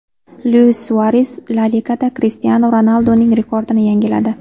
Luis Suares La Ligada Krishtianu Ronalduning rekordini yangiladi.